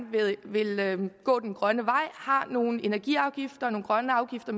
vil gå den grønne vej har nogle energiafgifter nogle grønne afgifter